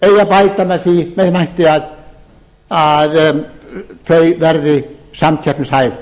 bæta með þeim hætti að þau verði samkeppnishæf